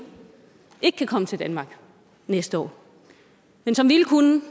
ikke kan komme til danmark næste år men som ville kunne